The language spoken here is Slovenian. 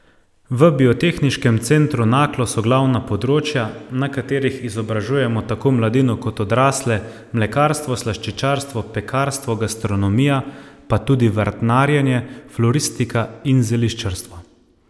V Biotehniškem centru Naklo so glavna področja, na katerih izobražujemo tako mladino kot odrasle mlekarstvo, slaščičarstvo, pekarstvo, gastronomija, pa tudi vrtnarjenje, floristika in zeliščarstvo.